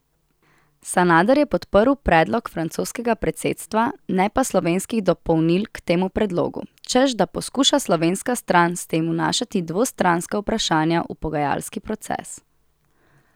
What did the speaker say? Sanader je podprl predlog francoskega predsedstva, ne pa slovenskih dopolnil k temu predlogu, češ da poskuša slovenska stran s tem vnašati dvostranska vprašanja v pogajalski proces.